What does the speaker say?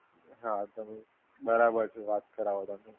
બરાબર છે વાત